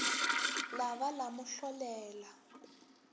la ba la mo hlolela